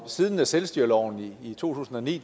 siden selvstyreloven i to tusind og ni